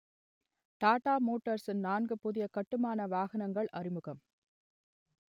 டாடா மோட்டார்ஸ்ன் நான்கு புதிய கட்டுமான வாகனங்கள் அறிமுகம்